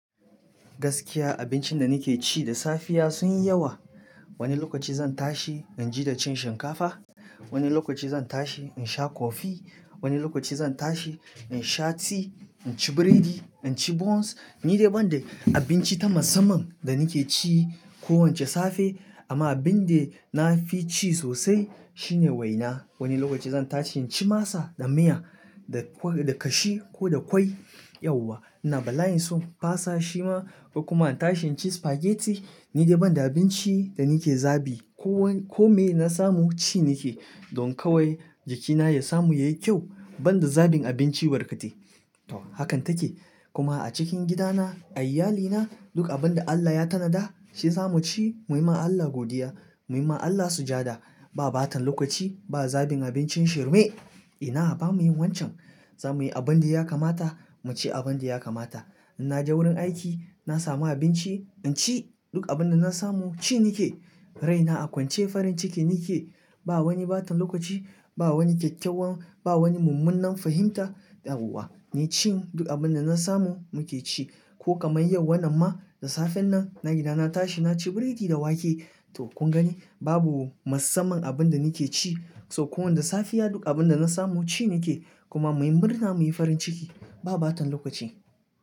Gaskiya abincin da nake ci da safiya sun yi yawa. Wani lokaci zan tashi in ji da cin shinkafa, wani lokaci zan tashi in sha kofi, wani lokaci zan tashi in sha ti, in ci biredi, in ci bons. Ni dai ban da abinci ta masamman da nake ci kowace safe amma abin da na fi ci sosai shine waina. Wani lokaci zan tashi in ci masa da miya da kashi ko da kwai yauwa. Ina balaye sun fasa shi ma kuma in tashi in ci spaghetti. Ni dai ban da abinci da nake zabi. Ko me na samu ci nake don kawai jikina ya samu yayi kyau ban da zabin abinci barkate. To hakan take kuma a cikin gidana, a iyalina duk abin da Allah ya tanada shi zamu ci muyi ma Allah godiya, muyi ma Allah sujada. Ba bata lokaci, ba zabin abincin shirme. Ina a ba mu yin wancan. Za mu yi abin da ya kamata, mu ci abin da ya kamata. In naje wurin aiki na samu abinci in ci duk abin da na samu ci nake. Raina a kwance farin ciki nake. Ba wani bata lokaci, ba wani kyakkyawan, ba wani mummunan fahimta. Dawowa, ni cin duk abin da na samu muke ci. Ko kamar yau wannan ma da safen nan na gida na tashi na ci biredi da wake. To kun gani babu masamman abin da nake ci. To ko wanda safiya duk abin da na samu ci nake kuma muyi murna muyi farin ciki. Ba bata lokaci.